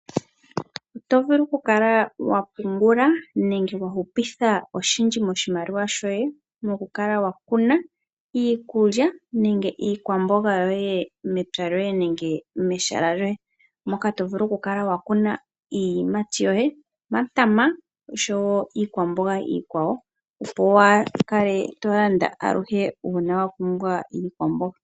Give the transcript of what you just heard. Oto vulu oku kala wa pungula nenge wa hupitha oshindji moshimaliwa shoye moku kala wa kuna iikulya nenge iikwamboga yoye mepya loye nenge mehala lyoye. Moka to vulu oku kala wa kuna iiyimati yoye omatama oshowo iikwamboga ikwawo wa kale to landa aluhe una wa pumbwa iikwamboga.